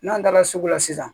N'an taara sugu la sisan